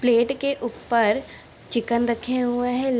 plate के ऊप्पर chicken रखे हुए हैं ल --